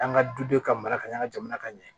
An ka dudenw ka mara ka ɲa an ka jamana ka ɲɛ